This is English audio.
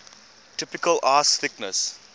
typical ice thickness